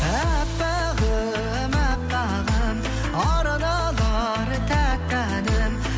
әппағым әппағым арналар тәтті әнім